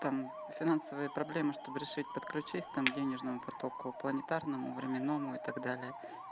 там финансовые проблемы чтобы решить подключись там к денежному потоку планетарному временному и так далее